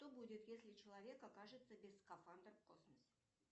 что будет если человек окажется без скафандра в космосе